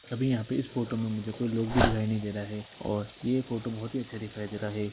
अभी यहाँ पे इस फोटो में मुझे कुछ लोग भी दिखाई नहीं दे रहा है और ये फोटो बोहत ही अच्छा दिखाई दे रहा है।